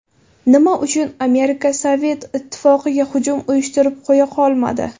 Nima uchun Amerika Sovet Ittifoqiga hujum uyushtirib qo‘ya qolmadi?